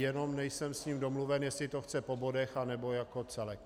Jenom nejsem s ním domluven, jestli to chce po bodech, anebo jako celek.